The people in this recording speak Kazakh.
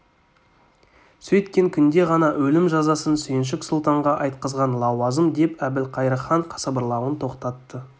сөйткен күнде ғана өлім жазасын сүйіншік сұлтанға айтқызған лауазым деп әбілқайыр хан сыбырлауын тоқтатты